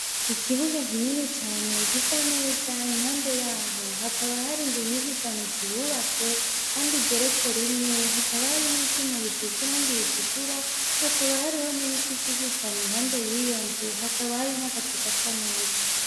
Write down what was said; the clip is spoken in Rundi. Ikibuga kinini cane gisa neza impande yaho hakaba hari inzu nyinshi cane zihubatse kandi igeretse rimwe hakaba hari n'ivyuma bisize irangi ritukura hakaba hariho n'ibiti vyinshi cane impande yiyo nzu hakaba hari n'agacu gasa neza.